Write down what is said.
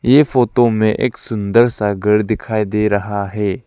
ये फोटो में एक सुंदर सा घर दिखाई दे रहा है।